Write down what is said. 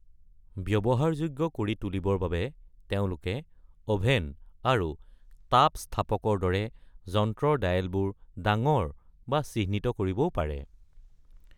ব্যৱহাৰযোগ্য কৰি তুলিবৰ বাবে তেওঁঁলোকে অভেন আৰু তাপস্থাপকৰ দৰে যন্ত্ৰৰ ডায়েলবোৰ ডাঙৰ বা চিহ্নিত কৰিবও পাৰে।